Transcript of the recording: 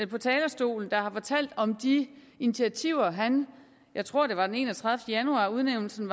på talerstolen der har fortalt om de initiativer jeg tror det var den enogtredivete januar udnævnelsen